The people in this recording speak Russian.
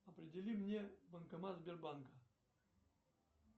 определи мне банкомат сбербанка